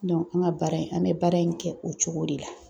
an ka baara in , an bɛ baara in kɛ o cogo de la.